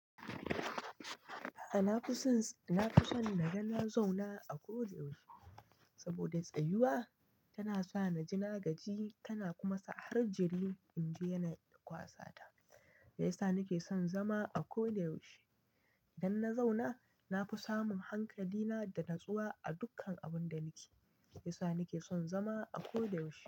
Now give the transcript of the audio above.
A'a, na fi sons, na fi son naga na zauna a ko da yaushe. Saboda tsayuwa tana sa na ji nagaji, tana kuma sa har jiri in ji yana kwasata. Ya sa nake son zama a ko da yaushe. Idan na zauna, na fi samun hankali na da natsuwa a dukkan abun da nake yi. Ya sa nake son zama a ko da yaushe.